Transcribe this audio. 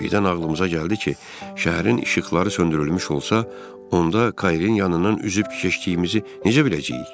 Birdən ağlımıza gəldi ki, şəhərin işıqları söndürülmüş olsa, onda Kayrin yanından üzüb keçdiyimizi necə biləcəyik?